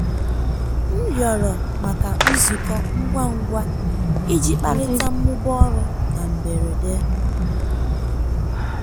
m rịọrọ maka nzukọ ngwa ngwa iji kparịta mmụba ọrụ na mberede.